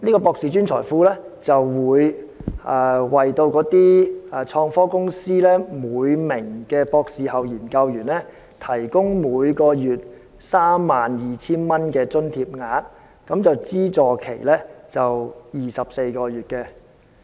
"博士專才庫"會為創科公司每名博士後研究員提供每月 32,000 元的津貼額，資助期為24個月。